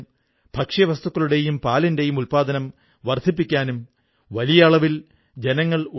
അതുകൊണ്ട് ഒരു പുസ്തകാലയം ഉണ്ടാക്കിക്കൂടേ അതിലൂടെ വളരെയധികം ആളുകൾക്ക് പ്രയോജനം ലഭിക്കില്ലേ എന്ന് എനിക്കു തോന്നി